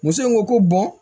Muso in ko ko bɔn